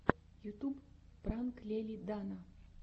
ютуб пранк лели дана